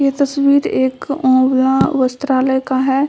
ये तस्वीर एक आँवला वस्त्रालय का है।